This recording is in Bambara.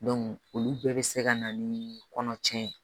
olu bɛɛ bɛ se ka na ni kɔnɔ cɛn ye